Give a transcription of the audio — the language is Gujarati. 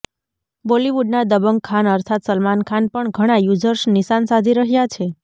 બોલીવુડના દબંગ ખાન અર્થાત સલમાન ખાન પર ઘણા યુઝર્સ નિશાન સાધી રહ્યા છે